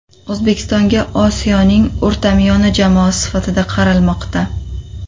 O‘zbekistonga Osiyoning o‘rtamiyona jamoasi sifatida qaralmoqda.